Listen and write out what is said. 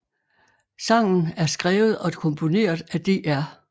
Sangen er skrevet og komponeret af Dr